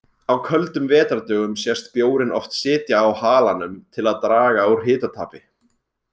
Á köldum vetrardögum sést bjórinn oft sitja á halanum til að draga úr hitatapi.